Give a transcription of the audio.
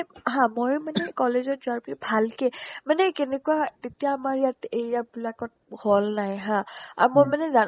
হা মই মানে হা মই মানে college ত যোৱাৰ পৰা ভালকে মানে কেনেকুৱা হয় তেতিয়া আমাৰ ইয়াত area বিলাকত hall নাই হা আৰু মই মানে জানো